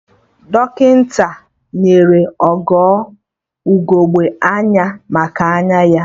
Dọkịta nyere Ogo ugegbe anya maka anya ya